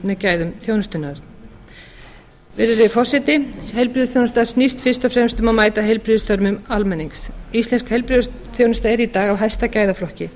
með gæðum þjónustunnar virðulegi forseti heilbrigðisþjónusta snýst fyrst og fremst um að mæta heilbrigðisþörfum almennings íslensk heilbrigðisþjónusta er í dag í hæsta gæðaflokki